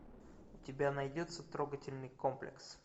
у тебя найдется трогательный комплекс